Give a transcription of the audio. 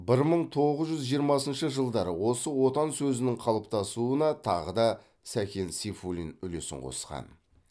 бір мың тоғыз жүз жиырмасыншы жылдары осы отан сөзінің қалыптасуына тағы да сәкен сейфуллин үлесін қосқан